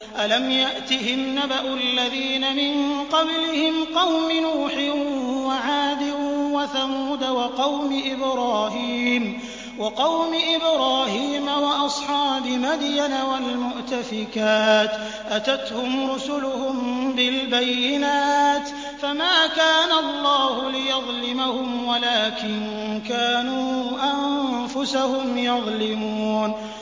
أَلَمْ يَأْتِهِمْ نَبَأُ الَّذِينَ مِن قَبْلِهِمْ قَوْمِ نُوحٍ وَعَادٍ وَثَمُودَ وَقَوْمِ إِبْرَاهِيمَ وَأَصْحَابِ مَدْيَنَ وَالْمُؤْتَفِكَاتِ ۚ أَتَتْهُمْ رُسُلُهُم بِالْبَيِّنَاتِ ۖ فَمَا كَانَ اللَّهُ لِيَظْلِمَهُمْ وَلَٰكِن كَانُوا أَنفُسَهُمْ يَظْلِمُونَ